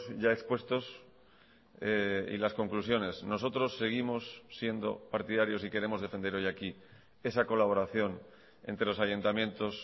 ya expuestos y las conclusiones nosotros seguimos siendo partidarios y queremos defender hoy aquí esa colaboración entre los ayuntamientos